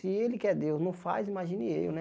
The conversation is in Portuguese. Se ele quer Deus, não faz, imagine eu, né?